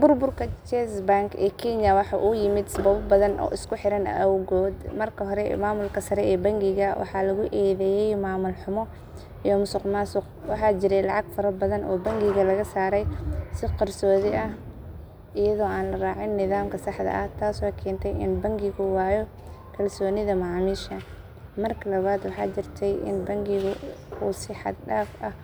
Burburka Chase Bank ee Kenya waxa uu yimid sababo badan oo isku xiran awgood. Marka hore, maamulka sare ee bangiga waxa lagu eedeeyay maamul xumo iyo musuqmaasuq. Waxaa jiray lacag farabadan oo bangiga laga saaray si qarsoodi ah iyadoo aan la raacin nidaamka saxda ah, taasoo keentay in bangigu waayo kalsoonida macaamiisha. Marka labaad, waxa jirtay in bangigu uu si xad dhaaf ah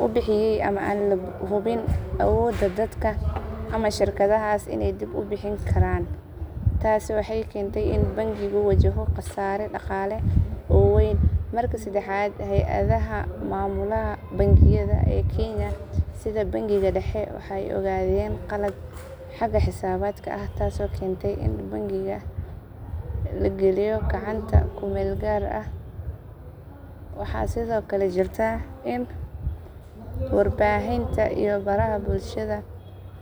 u bixiyay amaah aan la hubin awoodda dadka ama shirkadahaas inay dib u bixin karaan. Taasi waxay keentay in bangigu wajahdo khasaare dhaqaale oo weyn. Marka saddexaad, hay’adaha maamula bangiyada ee Kenya sida Bangiga Dhexe waxa ay ogaadeen khaladaad xagga xisaabaadka ah taasoo keentay in bangiga la geliyo gacanta kumeelgaar ah. Waxaa sidoo kale jirta in warbaahinta iyo baraha bulshada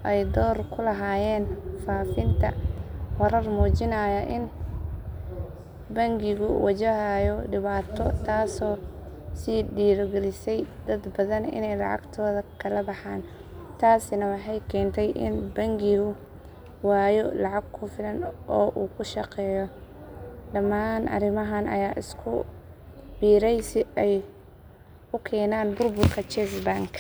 ay door ku lahaayeen faafinta warar muujinaya in bangigu wajahayo dhibaato taasoo sii dhiirogelisay dad badan inay lacagtooda ka la baxaan, taasina waxay keentay in bangigu waayo lacag ku filan oo uu ku shaqeeyo. Dhamaan arrimahan ayaa isku biiray si ay u keenaan burburka Chase Bank.